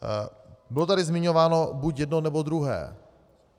Bylo tady zmiňováno buď jedno, nebo druhé.